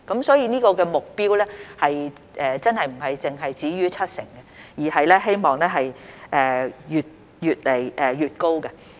所以，這個目標真的並非止於七成，而是希望越來越高。